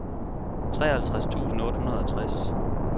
treoghalvtreds tusind otte hundrede og tres